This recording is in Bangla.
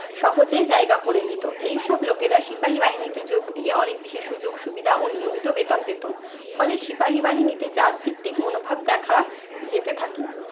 সহজেই জায়গা করে নিতো। এইসব লোকেরা সিপাহী বাহিনীতে যোগ দিয়ে অনেক বেশি সুযোগ সুবিধা ও নিয়মিত বেতন পেতো। ফলে সিপাহী বাহিনীতে জাতভিত্তিক মনোভাব দেখা যেতে থাকে।